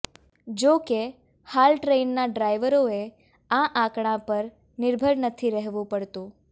જો કે હાલ ટ્રેઇનના ડ્રાઈવરોએ આ આંકડા પર નિર્ભર નથી રહેવુ પડતું